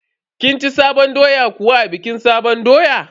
Kin ci sabon doya kuwa a bikin sabon doya?